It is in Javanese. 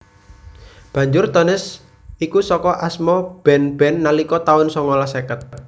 Banjur Tones iku saka asma band band nalika taun songolas seket